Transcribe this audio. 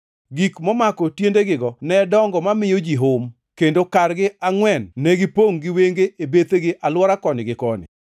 Gik momako tiendegigo ne dongo mamiyo ji hum, kendo kargi angʼwen negipongʼ gi wenge e bethegi alwora koni gi koni.